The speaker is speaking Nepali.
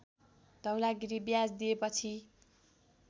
धौलागिरी ब्याज दिएपछि